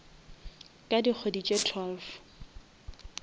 ka dikgwedi tše twelve